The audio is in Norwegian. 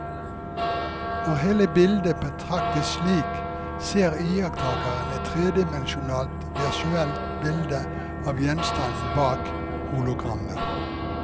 Når hele bildet betraktes slik, ser iakttakeren et tredimensjonalt virtuelt bilde av gjenstanden bak hologrammet.